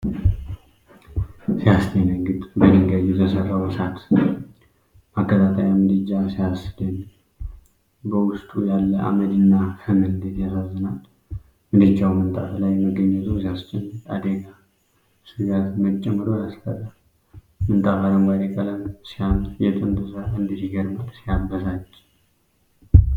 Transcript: ሲያስደነግጥ! በድንጋይ የተሠራው እሳት ማቀጣጠያ ምድጃ ሲያስደንቅ! በውስጡ ያለ አመድና ፍም እንዴት ያሳዝናል! ምድጃው ምንጣፍ ላይ መገኘቱ ሲያስጨንቅ! የአደጋ ስጋት መጨመሩ ያስፈራል! ምንጣፉ አረንጓዴ ቀለም ሲያምር! የጥንት ሥራ እንዴት ይገርማል! ሲያበሳጭ!